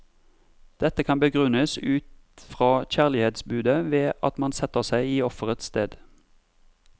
Dette kan begrunnes ut fra kjærlighetsbudet ved at man setter seg i offerets sted.